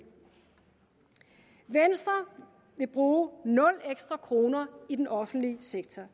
venstre vil bruge nul ekstra kroner i den offentlige sektor